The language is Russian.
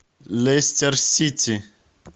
лестер сити